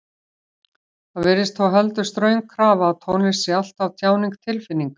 Það virðist þó heldur ströng krafa að tónlist sé alltaf tjáning tilfinninga.